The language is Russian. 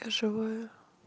живая